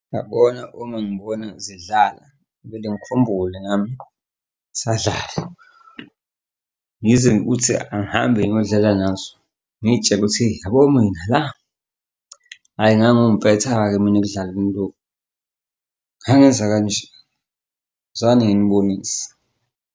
Yabona uma ngibona zidlala vele ngikhumbule nami, ngsadlala ngize ukuthi angihambe ngiyodlala nazo, ngiy'tshele ukuthi yabo mina la hhayi ngangiwumpetha-ke mina ekudlaleni lokhu ngangenza kanje, wozani nginibonise.